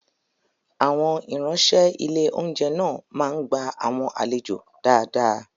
Àwọn ìránṣẹ́ ilé oúnjẹ náà máa ń gbá àwọn àlejò dáadáa